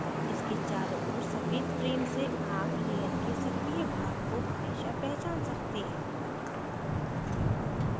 इसके चारों ओर सफ़ेद frame से आप layer के सक्रीय भाग को हमेशा पहचान सकते हैं